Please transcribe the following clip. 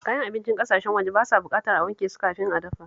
Kayan abincin ƙasashen waje ba sa buƙatar a wanke su kafin a dafa